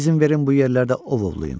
İzin verin bu yerlərdə ov ovlayım.